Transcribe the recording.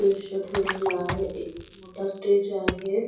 ठेवलेला आहे एक मोठा स्टेज आहे.